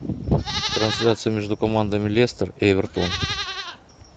трансляция между командами лестер и эвертон